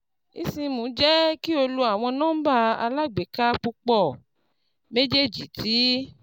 eSIM jẹ ki o lo awọn nọmba alagbeka pupọ, mejeeji ti